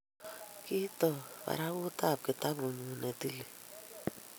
ki toi barakutab kitabut nyu ne tilil